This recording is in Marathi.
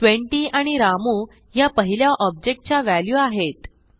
20 आणि रामू ह्या पहिल्या ऑब्जेक्ट च्या व्हॅल्यू आहेत